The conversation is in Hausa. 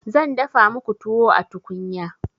zan dafa muku tuwo a tukunya